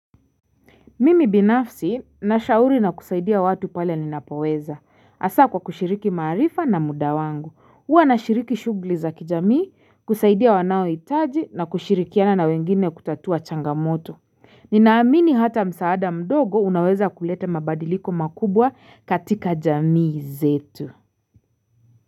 Mimi binafsi na shauri na kusaidia watu pale ninapoweza. Hasaa kwa kushiriki maarifa na muda wangu. Huwa nashiriki shugli za kijamii, kusaidia wanaoitaji na kushirikiana na wengine kutatua changamoto. Ninaamini hata msaada mdogo unaweza kulete mabadiliko makubwa katika jamii zetu.